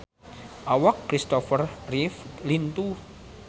Awak Kristopher Reeve lintuh